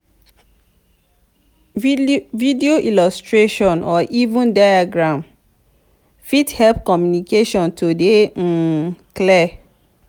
video illustration or even diagram fit help communication to dey um clear